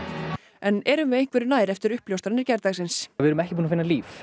erum við einhverju nær eftir uppljóstranir gærdagsins við erum ekki búin að finna líf